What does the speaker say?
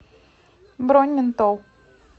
бронь ментол